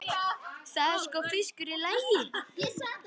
Það er sko fiskur í lagi.